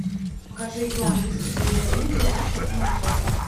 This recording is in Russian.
покажи игру английской премьер лиги лестер и манчестер